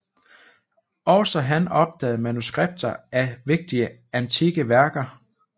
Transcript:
Også han opdagede manuskripter af vigtige antikke værker